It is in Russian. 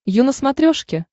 ю на смотрешке